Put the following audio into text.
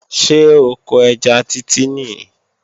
Ṣé oko ẹja Títí nìí?